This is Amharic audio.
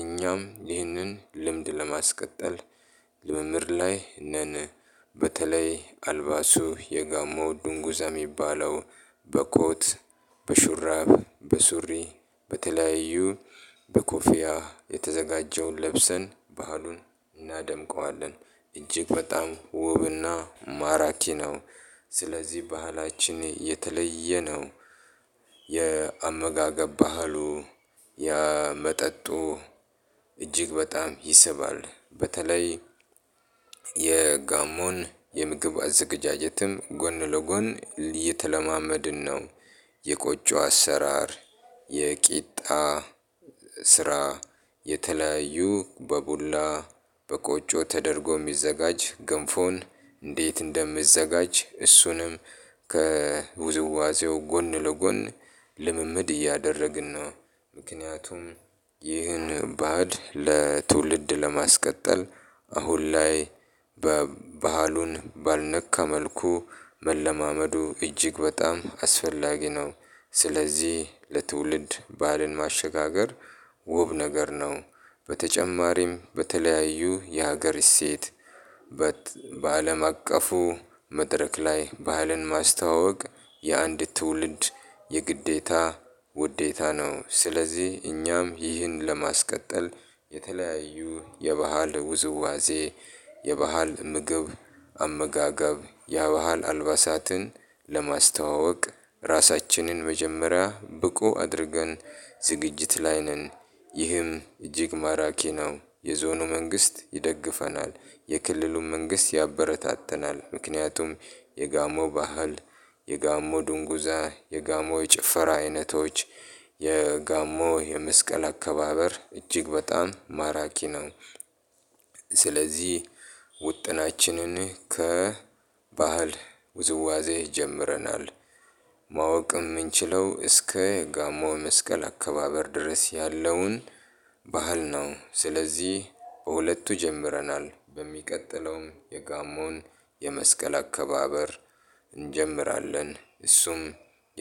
እኛም ይህንን ልምድ ለማስቀጠል ልምምድ ላይ ነን። በተለይ አልባሱ የጋሞ ድንጉዛ የሚባለው በኮት በሹራብ በሱሪ በተለያዩ በኮፊያ የተዘጋጀውን ለብሰን ባህሉን እናደምቀዋለን። እጅግ በጣም ውብና ማራኪ ነው። ስለዚህ ባህላችን የተለየ ነው። የአመጋገብ ባህሉ ያመጠጡ መጠጡ እጅግ በጣም ይስባል። በተለይ የጋሞን የምግብ አዝግጃጀትም ጎን ለጎን የተለማመድን ነው። የቆጮ አሰራር የቂጣ ስራ የተለያዩ በቡላ በቆጮ ተደርጎ የሚዘጋጅ ገንፎን እንዴት እንደሚዘጋጅ እሱንም ከውዝዋዜው ጎን ለጎን ልምምድ እያደረግን ነው። ምክንያቱም ይህን ባህል ለትውልድ ለማስቀጠል አሁን ላይ በባህሉን ባልነካ መልኩ መለማመዱ እጅግ በጣም አስፈላጊ ነው። ስለዚህ ለትውልድ ባህልን ማሸጋገር ውብ ነገር ነው። በተጨማሪም በተለያዩ የሀገር እሴት በአለም አቀፉ መድረክ ላይ ባህልን ማስተዋወቅ። የአንድ ትውልድ የግዴታ ውዴታ ነው። ስለዚህ እኛም ይህን ለማስቀጠል የተለያዩ የባህል ውዝዋዜ የባህል ምግብ አመጋጋብ ያበሃል አልባሳትን ለማስተዋወቅ ራሳችንን መጀመሪያ ብቁ አድርገን ዝግጅት ላይ ነን። ይህም እጅግ ማራኪ ነው የዞኑ መንግስት ይደግፈናል የክልሉም መንግስት ያበረታተናል። ምክንያቱም የጋሞ ባህል የጋሞ ድንጉዛ የጋሞ ጭፈራ አይነቶች የጋሞ የመስቀል አከባበር እጅግ በጣም ማራኪ ነው። ስለዚህ ውጥናችንን ከባህል ውዝዋዜ ጀምረናል። ማወቅም የምንችለው እስከ ጋሞ መስቀል አከባበር ድረስ ያለውን ባህል ነው። ስለዚህ በሁለቱ ጀምረናል በሚቀጥለውም የጋሞን የመስቀል አከባበር እንጀምራለን። እሱም